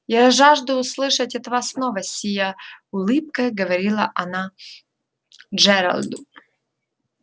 я жажду услышать от вас новости сияя улыбкой говорила она джералду